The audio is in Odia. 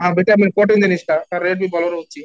ହଁ, vitamin protein ଜିନିଷଟା rate ବି ବଡ଼ ରହୁଛି